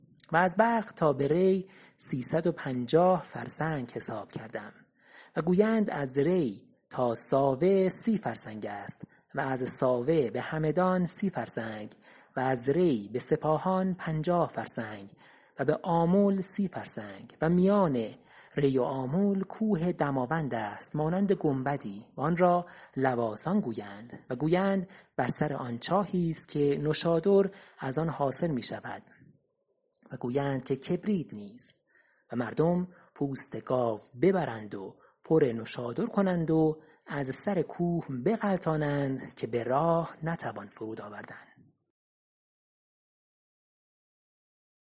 و از بلخ تا به ری سیصد و پنجاه فرسنگ حساب کردم و گویند از ری تا ساوه سی فرسنگ است و از ساوه به همدان سی فرسنگ و از ری به سپاهان پنجاه فرسنگ و به آمل سی فرسنگ و میان ری و آمل کوه دماوند است مانند گنبدی و آن را لواسان گویند و گویند بر سر آن چاهیست که نوشادر از آن حاصل می شود و گویند که کبریت نیز و مردم پوست گاو ببرند و پر نوشادر کنند و از سر کوه بغلتانند که به راه نتوان فرود آوردن